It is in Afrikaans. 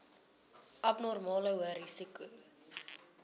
abnormale hoë risiko